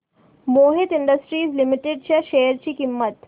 Mohit industries limited च्या share ची किंमत